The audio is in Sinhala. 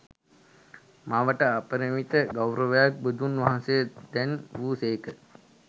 මවට අපරිමිත ගෞරවයක් බුදුන් වහන්සේ දැන් වූ සේක.